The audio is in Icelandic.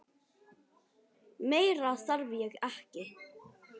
Meira þarf ég ekki.